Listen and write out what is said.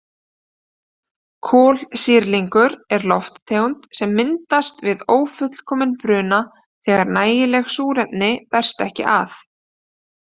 Kolsýrlingur er lofttegund sem myndast við ófullkominn bruna þegar nægilegt súrefni berst ekki að.